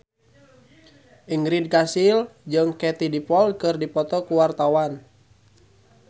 Ingrid Kansil jeung Katie Dippold keur dipoto ku wartawan